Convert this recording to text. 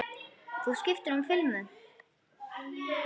Þú skiptir um filmu!